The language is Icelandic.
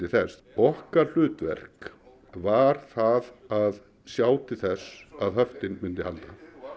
þess okkar hlutverk var það að sjá til þess að höftin myndu halda